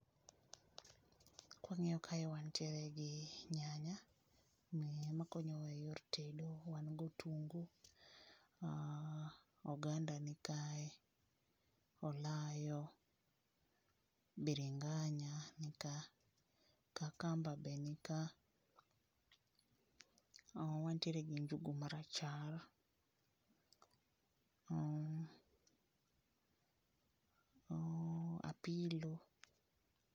Kawangi'o kae wantiere gi nyanya, ma konyowa e yor tedo, wan go otungu, oganda nikae, olayo, biringa'nya nika, kakamba be nikae , wantiere gi njugu marachar, apilo.